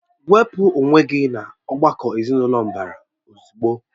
Wepụ onwe gị n'ọ̀gbakọ̀ ezinụlọ mbara ozugbo!